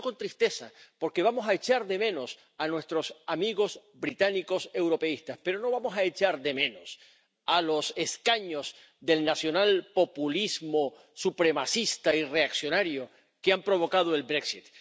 Lo hemos hecho con tristeza, porque vamos a echar de menos a nuestros amigos británicos europeístas, pero no vamos a echar de menos a los escaños del nacionalpopulismo supremacista y reaccionario que han provocado el Brexit